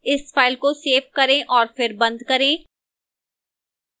इस file को save करें और फिर बंद करें